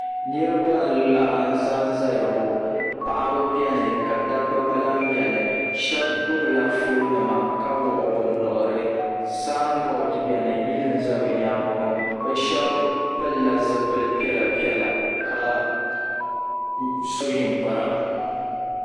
niraba n laɣasi ʒɛya ŋɔ paɣaba biɛni ka dabba gba lahi biɛni shab gbubila foon nima ka wuɣi bi nuhuri ka sanbood biɛni yili n bɛ bi nyaangi ŋɔ bi shab pilila zipili piɛla piɛla ka so ninkpara